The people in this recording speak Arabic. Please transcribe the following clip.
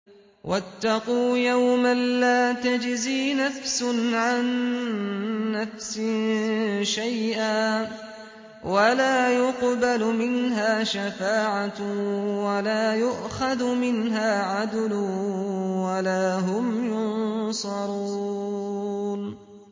وَاتَّقُوا يَوْمًا لَّا تَجْزِي نَفْسٌ عَن نَّفْسٍ شَيْئًا وَلَا يُقْبَلُ مِنْهَا شَفَاعَةٌ وَلَا يُؤْخَذُ مِنْهَا عَدْلٌ وَلَا هُمْ يُنصَرُونَ